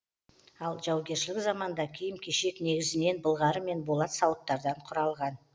ал жаугершілік заманда киім кешек негізінен былғары мен болат сауыттардан құралған